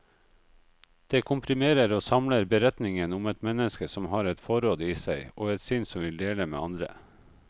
Det komprimerer og samler beretningen om et menneske som har et forråd i seg, og et sinn som vil dele med andre.